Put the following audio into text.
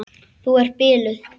Þú ert biluð!